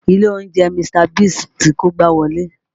Ilé oúnjẹ Mr. Biggs ti kógbá wọlé